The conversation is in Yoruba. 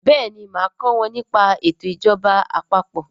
béèni má ko kò wón ní pa eto ìjọba àpapọ̀.